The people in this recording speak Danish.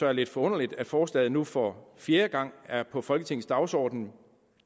er lidt forunderligt at forslaget nu for fjerde gang er på folketingets dagsorden